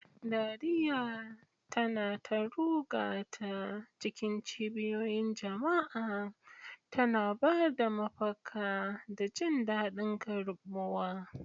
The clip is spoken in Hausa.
Dariya tana ta ruga ta cikin cibiyoyin jama'a, tana ba da mafaka da jin daɗin karɓuwa.